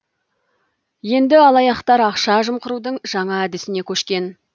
енді алаяқтар ақша жымқырудың жаңа әдісіне көшкен